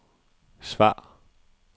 svar